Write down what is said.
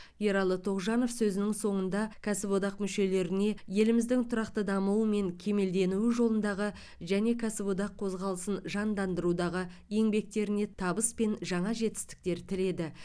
ералы тоғжанов сөзінің соңында кәсіподақ мүшелеріне еліміздің тұрақты дамуы мен кемелденуі жолындағы және кәсіподақ қозғалысын жандандырудағы еңбектеріне табыс пен жаңа жетістіктер тіледі